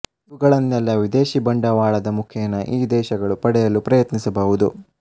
ಇವುಗಳನ್ನೆಲ್ಲಾ ವಿದೇಶಿ ಬಂಡವಾಳದ ಮುಖೇನ ಈ ದೇಶಗಳು ಪಡೆಯಲು ಪ್ರಯತ್ನಿಸಬಹುದು